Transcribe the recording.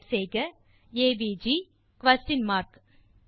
type செய்க AVG மற்றும் question mark